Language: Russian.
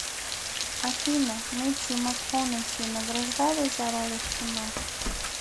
афина мэттью макконахи награждали за роли в кино